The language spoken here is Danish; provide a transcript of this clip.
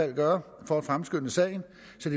vil gøre